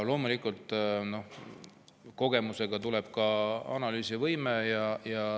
Loomulikult, kogemusega tuleb ka analüüsivõime.